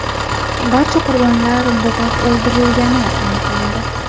Barcha qurbonlar bo‘g‘ib o‘ldirilgani aniqlandi.